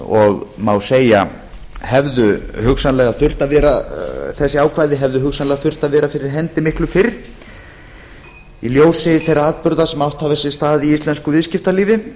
og má segja að þessi ákvæði hefðu hugsanlega þurft að vera fyrir hendi miklu fyrr í ljósi þeirra atburða sem átt hafa sér stað í íslensku viðskiptalífi